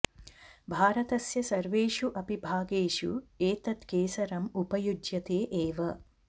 भारतस्य सर्वेषु अपि भागेषु एतत् केसरम् उपयुज्यते एव